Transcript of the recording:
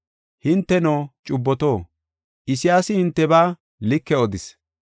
Hinteno, cubboto, Isayaasi hintebaa like odis,